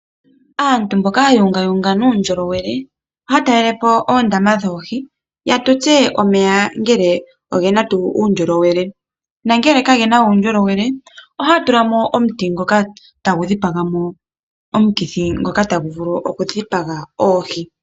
Aantu mboka haya ungawunga nuundjolowele, ohaa talelepo oondama dhoohi yatutse omeya ngele ogena tuu uundjolowele. Nangele kagena uundjolowele ohaya tulamo omuti ngoka tagu dhipamo omukithi ngoka tagu vulu oku dhipaga oohi.